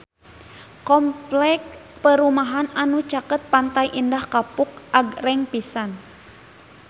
Kompleks perumahan anu caket Pantai Indah Kapuk agreng pisan